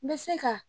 N bɛ se ka